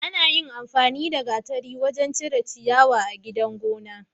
Anyin amfani da gatari wajan cire ciyawa a gidan gona